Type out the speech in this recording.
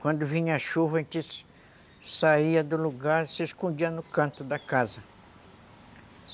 Quando vinha a chuva, a gente saía do lugar e se escondia no canto da casa.